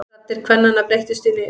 Raddir kvennanna breyttust í nið.